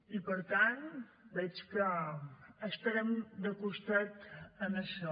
i per tant veig que estarem de costat en això